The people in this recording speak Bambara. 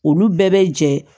Olu bɛɛ bɛ jɛ